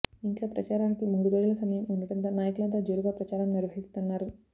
ఇంకా ప్రచారానికి మూడురోజుల సమయం ఉండటంతో నాయకులంతా జోరుగా ప్రచారం నిర్వహిస్తున్నారు